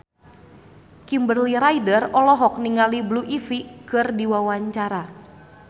Kimberly Ryder olohok ningali Blue Ivy keur diwawancara